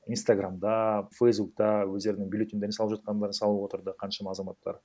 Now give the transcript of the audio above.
инстаграмда фейсбукта өздерінің бюллетеньдерін салып жатқандарын салып отырды қаншама азаматтар